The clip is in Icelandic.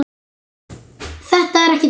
Þetta var ekki þannig.